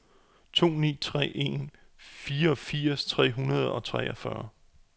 to ni tre en fireogfirs tre hundrede og treogfyrre